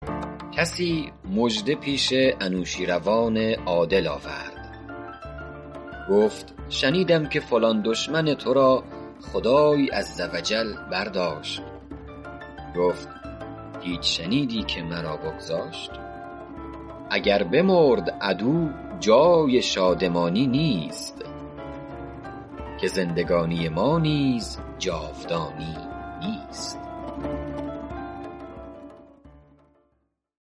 کسی مژده پیش انوشیروان عادل آورد گفت شنیدم که فلان دشمن تو را خدای عز و جل برداشت گفت هیچ شنیدی که مرا بگذاشت اگر بمرد عدو جای شادمانی نیست که زندگانی ما نیز جاودانی نیست